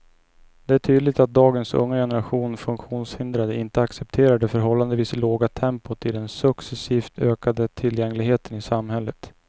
Det är tydligt att dagens unga generation funktionshindrade inte accepterar det förhållandevis låga tempot i den successivt ökande tillgängligheten i samhället.